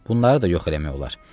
Bunları da yox eləmək olar.